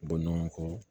Bɔ ɲɔgɔn kɔ